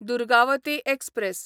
Durgavati express